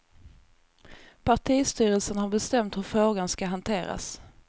Partistyrelsen har bestämt hur frågan ska hanteras.